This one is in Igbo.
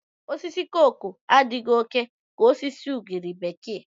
Osisi koko adịghị oke ka osisi ugiri bekee.